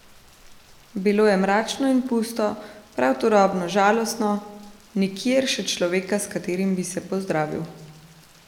Bilo je mračno in pusto, prav turobno žalostno, nikjer še človeka, s katerim bi se pozdravil ...